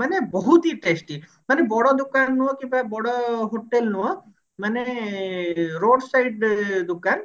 ମାନେ ବହୁତ ହି testy ମାନେ ବଡ ଦୋକାନ ନୁହଁ କିମ୍ବା ବଡ hotel ନୁହଁ ମାନେ road side ଦୋକାନ